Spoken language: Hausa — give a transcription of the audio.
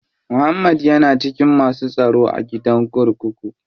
Muhammad ya na cikin masu tsaro a gidan kurkuku.